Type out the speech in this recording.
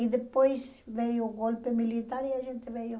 E depois veio o golpe militar e a gente veio.